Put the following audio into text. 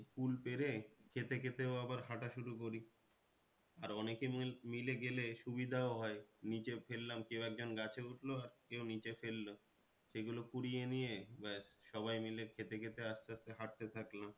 কুল পেরে খেতে খেতেও আবার হাঁটা শুরু করি আর অনেকে মিলে গেলে সুবিধাও হয় নীচে ফেললাম কেউ একজন গাছে উঠলো আর কেউ নিচে ফেললো সেগুলো কুড়িয়ে নিয়ে ব্যাস সবাই মিলে খেতে খেতে আস্তে আস্তে হাঁটতে থাকলাম